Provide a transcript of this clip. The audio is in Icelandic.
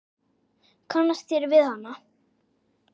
Kannist þér við hana?